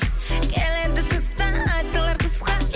келеді тыстан айтылар қысқа